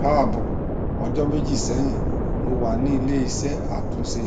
kaabo ọjọ meji sẹyin mo wa ni ileiṣẹ atunṣe